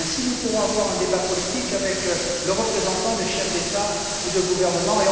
Nous pourrons ainsi avoir un débat politique avec les représentants des chefs d'État ou de gouvernement